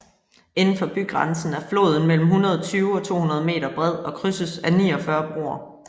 Indenfor bygrænsen er floden mellem 120 og 200 meter bred og krydses af 49 broer